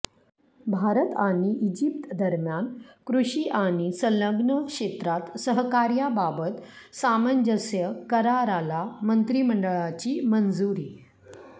भारत आणि इजिप्त दरम्यान कृषी आणि संलग्न क्षेत्रात सहकार्याबाबत सामंजस्य कराराला मंत्रिमंडळाची मंजुरी